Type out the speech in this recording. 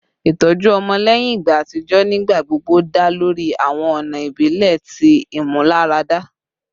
Itọju ọmọ lẹhin igba atijọ nigbagbogbo da lori awọn ọna ibile ti imularada